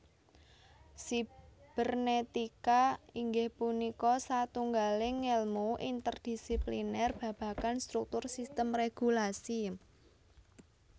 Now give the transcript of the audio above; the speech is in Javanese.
Sibernetika inggih punika satunggaling ngèlmu interdisipliner babagan struktur sistem régulasi